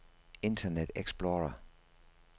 internet explorer